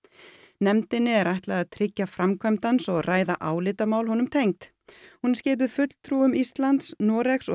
nefndinni er ætlað að tryggja framkvæmd hans og ræða álitamál honum tengd hún er skipuð fulltrúum Íslands Noregs og